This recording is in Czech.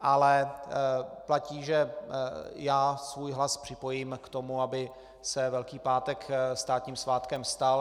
Ale platí, že já svůj hlas připojím k tomu, aby se Velký pátek státním svátkem stal.